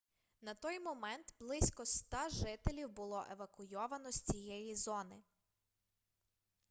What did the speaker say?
на той момент близько 100 жителів було евакуйовано з цієї зони